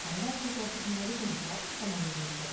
கனடாவுக்கு போறதுக்கு முன்னாடி கொஞ்சம் ஷாப்பிங் பண்ண வேண்டியிருக்கு.